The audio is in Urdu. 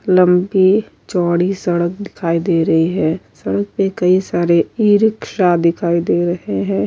لمبی چوڑی سڈک دکھائی دے رہی ہے۔ سڈک پی کی سارے ی-رکشا دکھائی دے رہی ہے۔